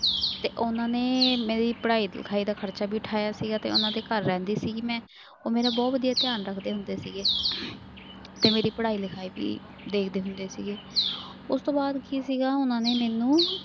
ਤੇ ਉਹਨਾਂ ਨੇ ਮੇਰੀ ਪੜ੍ਹਾਈ ਲਿਖਾਈ ਦਾ ਖ਼ਰਚਾ ਵੀ ਉਠਾਇਆ ਸੀਗਾ ਤੇ ਉਹਨਾਂ ਦੇ ਘਰ ਰਹਿੰਦੀ ਸੀਗੀ ਮੈਂ, ਉਹ ਮੇਰਾ ਬਹੁਤ ਵਧੀਆ ਧਿਆਨ ਰੱਖਦੇ ਹੁੰਦੇ ਸੀਗੇ ਤੇ ਮੇਰੀ ਪੜ੍ਹਾਈ ਲਿਖਾਈ ਵੀ ਦੇਖਦੇ ਹੁੰਦੇ ਸੀਗੇ ਉਸ ਤੋਂ ਬਾਅਦ ਕੀ ਸੀਗਾ ਉਹਨਾਂ ਨੇ ਮੈਨੂੰ